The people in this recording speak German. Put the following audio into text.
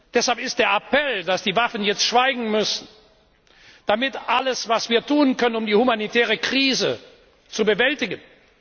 Deshalb ist der Appell, dass die Waffen jetzt schweigen müssen, alles, was wir tun können, um die humanitäre Krise zu bewältigen.